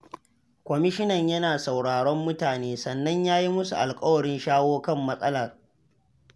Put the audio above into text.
Kwamishinan yana sauraron mutane, sannan ya yi musu alƙawarin shawo kan matsalar.